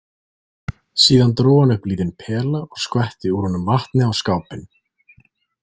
Síðan dró hann upp lítinn pela og skvetti úr honum vatni á skápinn.